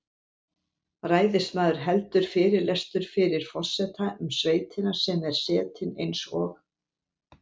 Ræðismaður heldur fyrirlestur fyrir forseta um sveitina sem er setin eins og